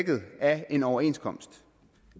er en overenskomst